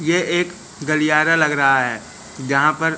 ये एक गलियारा लग रहा है जहां पर--